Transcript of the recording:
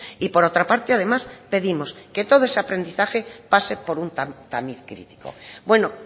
y por otra parte además pedimos que todo ese aprendizaje pase por un tamiz crítico bueno